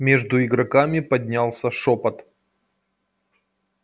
между игроками поднялся шёпот